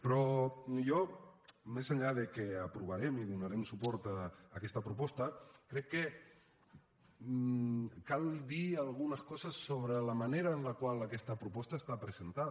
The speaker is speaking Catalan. però jo més enllà que aprovarem i donarem suport a aquesta proposta crec que cal dir algunes coses sobre la manera en la qual aquesta proposta ha estat presentada